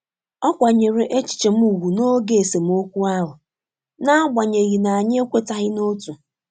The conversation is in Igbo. ọ kwanyere echiche m ùgwù n'oge esemeokwu ahụ n'agbanyeghi na anyi ekwetaghi na-otu.